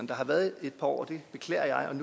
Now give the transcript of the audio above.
der har været et par år og det beklager jeg